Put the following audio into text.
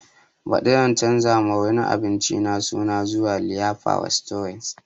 Baɗi zan canza ma wurin abincin nan suna zuwa liyafa restorant